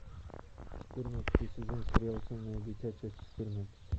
четырнадцатый сезон сериал темное дитя часть четырнадцать